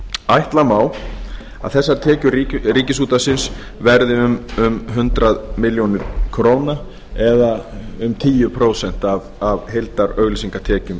ætla má að þessar tekjur ríkisútvarpsins verði um hundrað milljónir króna eða um tíu prósent af heildarauglýsingatekjum